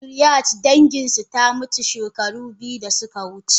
Fatriarch danginsu ta mutu shekara biyu da suka wuce.